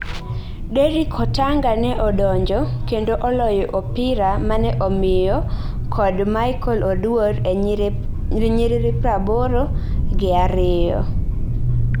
Derrick Otanga ne odonjo kendo oloyo opira mane omiyo kod Michael Oduor e nyiriri praboro gi ariyo